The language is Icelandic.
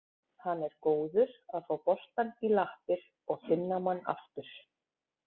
Hann er góður að fá boltann í lappir og finna mann aftur.